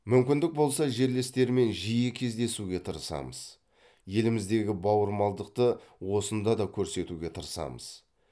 мүмкіндік болса жерлестермен жиі кездесуге тырысамыз еліміздегі бауырмалдықты осында да көрсетуге тырысамыз